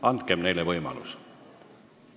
Andkem neile võimalus.